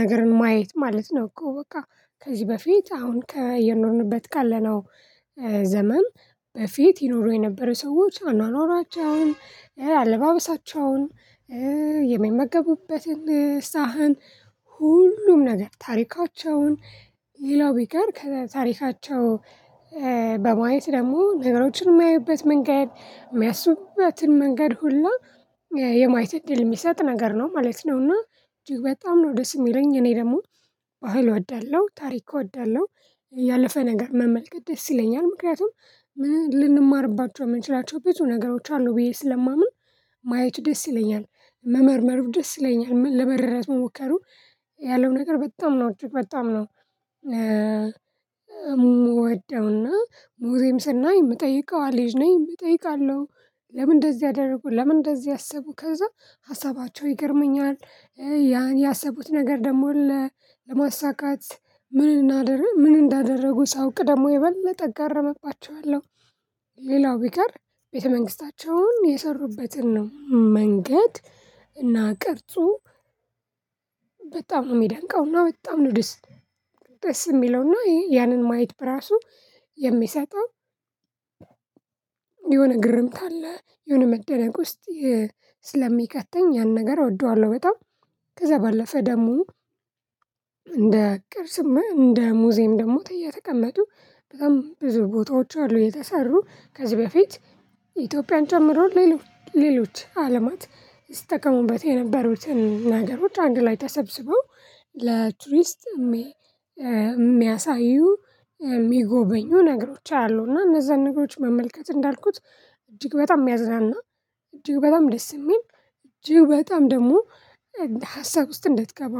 ነገርን ማየት ማለት ነው እኮ በቃ ከዚህ በፊት አሁን እየኖርንበት ካለነው ዘመን በፊት ይኖሩ የነበረ ሰዎች አኗኗራቸውን አለባበሳቸውን የሚመገቡበትን ሳህን ሁሉም ነገር ታሪካቸውን ሌላው ቢቀር ከታሪካቸው በማየት ደግሞ ነገሮችን የማያዩበት መንገድ የሚያስቡበትን መንገድ ሁላ የማየት እድል የሚሰጥ ነገር ነው ማለት ነው። እና እጅግ በጣም ነው ደስ የሚለኝ እኔ ደግሞ ባህል እወዳለሁ ታሪክ እወዳለሁ ያለፈ ነገር መመልከት ደስ ይለኛል ምክንያቱም ምን ልንማርባቸው የምንችላቸው ብዙ ነገሮች አሉ ብዬ ስለማምን ማየቱ ደስ ይለኛል። መመርመሩ ደስ ይለኛል ለመረዳት መሞከሩ ያለው ነገር በጣም ነው እጅግ በጣም ነው የምወደው። እና ሙዝየም ስናይ የምጠይቀዋ ልጅ ነኝ እጠይቃለሁ። ለምን እንደዚህ አደረጉ ለምን እንደዚህ አሰቡ ከዛ ሀሳባቸው ይገርመኛል። ያ ያሰቡት ነገር ደግሞ ለማሳካት ምን እናድርግ ምን እንዳደረጉ ሳውቅ ደግሞ የበለጠ አገረምባቸዋለው። ሌላው ቢቀር ቤተ መንግስታቸውን የሰሩበትን ነው መንገድ እና ቅርጹ በጣም ነው የሚደንቀው እና በጣም ነው ደስ የሚለው እና ያንን ማየት በራሱ የሚሰጠው የሆነ ግርምት አለ የሆነ መደነቅ ውስጥ ስለሚከተኝ ያን ነገር እወደዋለሁ። በጣም ከዛ ባለፈ ደግሞ እንደ ቅርስም እንደ ሙዚየም ደግሞ የተቀመጡ በጣም ብዙ ቦታዎች አሉ የተሰሩ ከዚህ በፊት ኢትዮጵያን ጨምሮ ሌሎች ሌሎች አለማት ሲጠቀሙበት የነበሩትን ነገሮች አንድ ላይ ተሰብስበው ለቱሪስት የሚያሳዩ የሚጎበኙ ነገሮች አያለሁ። እና እነዛን ነገሮች መመልከት እንዳልኩት እጅግ በጣም የሚያዝናና እጅግ በጣም ደስ የሚል እጅግ በጣም ደግሞ ሀሳብ ውስጥ እንድትገባ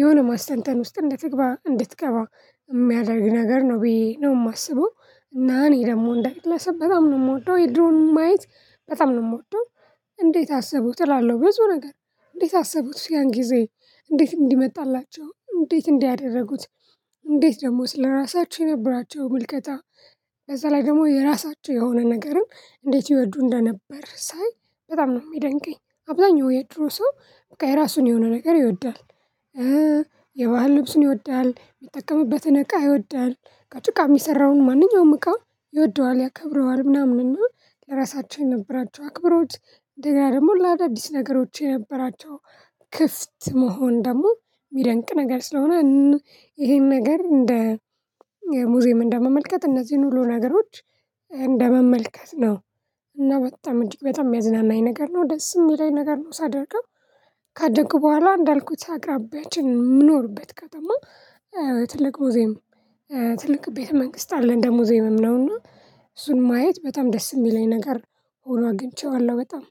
የሆነ ማስተንተን ውስጥ እንድትግባ እንድትገባ የሚያደርግ ነገር ነው ብዬ ነው የማስበው። እና እኔ ደግሞ እንደግለሰብ በጣም ነው የምወደው የድሮውን ማየት በጣም ነው የምወደው። እንዴት አሰቡት እላለሁ ብዙ ነገር እንዴት አሰቡት ያን ጊዜ እንዴት እንዲ መጣላቸው እንዴት እንዲ አደረጉት እንዴት ደግሞ ስለራሳቸው የነበራቸው ምልከታ በዛ ላይ ደግሞ የራሳቸው የሆነ ነገርን እንዴት ይወዱ እንደነበር ሳይ በጣም ነው የሚደንቀኝ። አብዛኛው የድሮ ሰው በቃ የራሱን የሆነ ነገር ይወዳል የባህል ልብሱን ይወዳል የሚጠቀምበትን እቃ ይወዳል። ከጭቃ የሚሰራውን ማንኛውም እቃ ይወደዋል ያከብረዋል ምናምን እና ለራሳቸው የነበራቸው አክብሮት እንደገና ደግሞ ለአዳዲስ ነገሮች የነበራቸው ክፍት መሆን ደግሞ የሚያደንቅ ነገር ስለሆነ ይሄን ነገር እንደ ሙዚየም እንደመመልከት እነዚህን ሁሉ ነገሮች እንደመመልከት ነው። እና በጣም እጅግ በጣም የሚያዝናናኝ ነገር ነው ደስ የሚለኝ ነገር ነው። ሳደርግም ካደግኩ በኋላ እንዳልኩት አቅራቢያችን የምኖርበት ከተማ ትልቅ ሙዝየም ትልቅ ቤተ መንግስት አለን እንደ ሙዝየምም ነው እና እሱን ማየት በጣም ደስ የሚለኝ ነገር ሆኖ አግኝቼዋለሁ በጣም።